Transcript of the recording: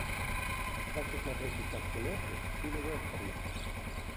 хочу смотреть сейчас киношку в стиле вестерна